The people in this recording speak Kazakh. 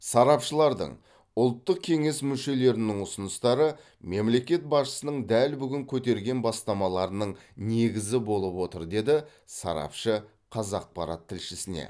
сарапшылардың ұлттық кеңес мүшелерінің ұсыныстары мемлекет басшысының дәл бүгін көтерген бастамаларының негізі болып отыр деді сарапшы қазақпарат тілшісіне